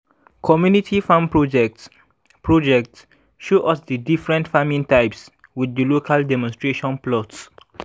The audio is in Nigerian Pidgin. community farm project project show us di different farming types with di local demonstration plots